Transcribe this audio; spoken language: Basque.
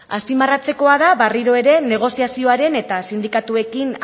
azpimarratzekoa da berriro ere negoziazioaren eta sindikatuekin